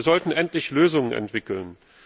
Wir sollten endlich Lösungen entwickeln!